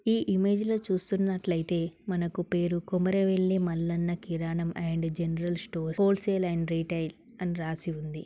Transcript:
ఈ ఇమేజ్ లో చూస్తున్నట్లయితే మనకు పేరు కొమరవెల్లి మల్లన్న కిరాణం and general stores wholesale and retail అని రాసి ఉంది.